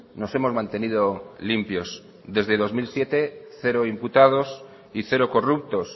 nos hemos mantenido limpios desde dos mil siete cero imputados y cero corruptos